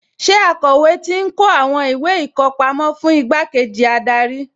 Ṣé akọ̀wé ti ń kó àwọn ìwé ìkọpámọ́ fún igbákejì adarí?